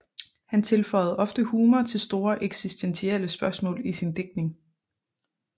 Han tilføjede ofte humor til store eksistentielle spørgsmål i sin digtning